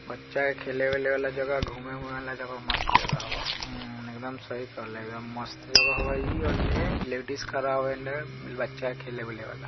बच्चा खेले-वेले वाला जगह घुमे-उमे वाला जगह मस्त जगहवा| इम्म एकदम सही कहेला एकदम मस्त जगहवा इ ओने लेडीज खड़ा है ओने बच्चा खेले-वेले वाला।